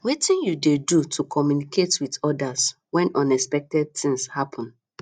wetin you dey do to communicate with odas when unexpected things happen